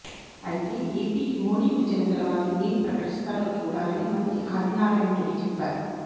అయితే ఏపీకి మోడీ వచ్చిన తర్వాత ఏం ప్రకటిస్తారో చూడాలని మంత్రి ఆదినారాయణరెడ్డి చెప్పారు